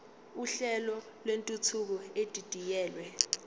uhlelo lwentuthuko edidiyelwe